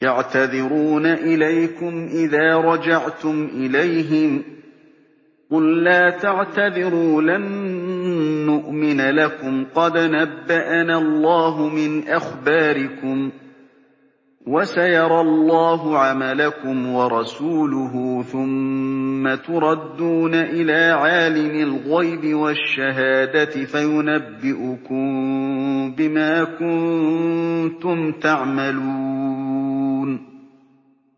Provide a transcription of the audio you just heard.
يَعْتَذِرُونَ إِلَيْكُمْ إِذَا رَجَعْتُمْ إِلَيْهِمْ ۚ قُل لَّا تَعْتَذِرُوا لَن نُّؤْمِنَ لَكُمْ قَدْ نَبَّأَنَا اللَّهُ مِنْ أَخْبَارِكُمْ ۚ وَسَيَرَى اللَّهُ عَمَلَكُمْ وَرَسُولُهُ ثُمَّ تُرَدُّونَ إِلَىٰ عَالِمِ الْغَيْبِ وَالشَّهَادَةِ فَيُنَبِّئُكُم بِمَا كُنتُمْ تَعْمَلُونَ